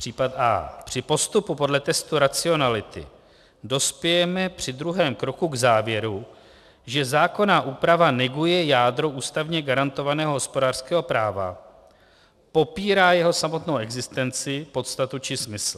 Případ a) Při postupu podle testu racionality dospějeme při druhém kroku k závěru, že zákonná úprava neguje jádro ústavně garantovaného hospodářského práva, popírá jeho samotnou existenci, podstatu či smysl.